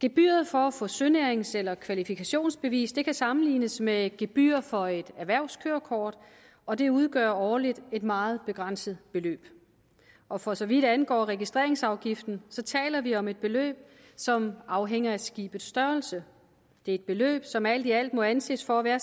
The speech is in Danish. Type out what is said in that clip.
gebyret for at få sønærings eller kvalifikationsbevis kan sammenlignes med et gebyr for et erhvervskørekort og det udgør årligt et meget begrænset beløb og for så vidt angår registreringsafgiften taler vi om et beløb som afhænger af skibets størrelse det er et beløb som alt i alt må anses for at være